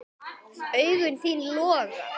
Augu þín loga.